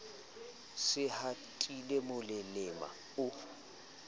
se a hatile molelema o